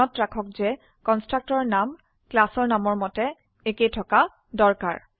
মনত ৰাখক যে কনস্ট্ৰাক্টৰৰ নাম ক্লাস নামৰ মতে একে থকা দৰকাৰ